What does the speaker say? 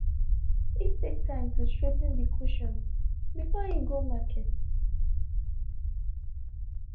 he take time to straigh ten de cushions before e go market.